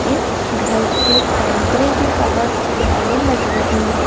इस घर की एंट्री भी बहोत प्यारी लग रही है।